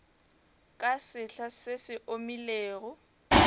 ka sehla se se omilego